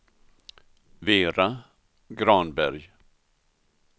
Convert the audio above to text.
Vera Granberg